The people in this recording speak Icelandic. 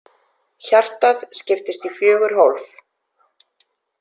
Hjartað skiptist í fjögur hólf.